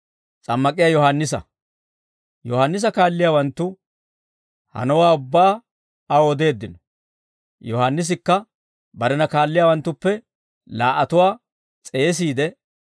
Yohaannisa kaalliyaawanttu hanowaa ubbaa aw odeeddino. Yohaannisikka barena kaalliyaawanttuppe laa"atuwaa s'eesiide,